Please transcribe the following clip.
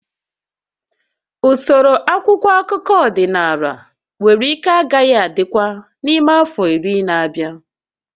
Usoro akwụkwọ akụkọ ọdịnala nwere ike agaghị adịkwa n'ime afọ iri na-abịa